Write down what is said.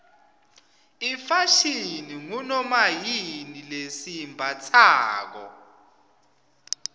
ifashini ngunomayini lesiyimbatsalo